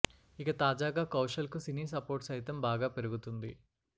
ఇక తాజాగా కౌశల్ కు సినీ సపోర్ట్ సైతం బాగా పెరుగుతుంది